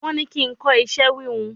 Wọ́n ní kí n kọ́ iṣẹ́ híhun